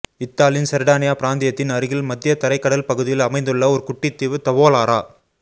இத்தாலியின் சர்டானியா பிராந்தியத்தின் அருகில் மத்திய தரைகடல் பகுதியில் அமைந்துள்ள ஒரு குட்டித்தீவு தவோலாரா